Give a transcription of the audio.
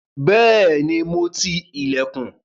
Bẹ́ẹ̀ni, mo ti ilẹ̀kùn.